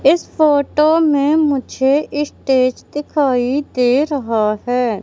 इस फोटो में मुझे स्टेज दिखाई दे रहा है।